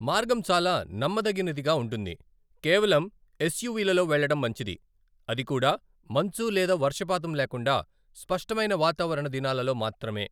మార్గం చాలా నమ్మదగనిదిగా ఉంటుంది, కేవలం ఎస్యూవిలలో వెళ్ళడం మంచిది, అది కూడా మంచు లేదా వర్షపాతం లేకుండా స్పష్టమైన వాతావరణ దినాలలో మాత్రమే.